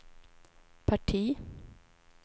parti